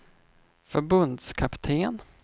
förbundskapten